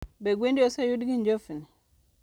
Be gwendi oseyud gi njofni?